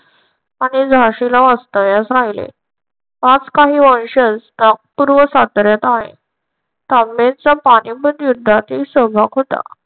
आणि झाशीला वास्तव्यास राहिले. आज काही वंशज नागपूर व साताऱ्यात आहेत. तांबेचा पानिपत युद्धातही सहभाग होता.